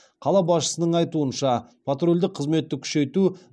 қала басшысының айтуынша патрульдік қызметті күшейту